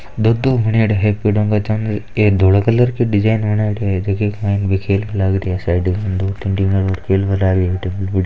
दो दो एक धोल कलर के डिजाइन बनयेडी है जीके क्लाइंट खेल की लग रही है साइड मे दु तीन --